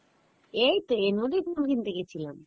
এইতো এর মধ্যেই phone কিনতে গেছিলাম